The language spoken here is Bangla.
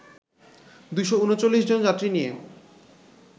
২৩৯ জন যাত্রী নিয়ে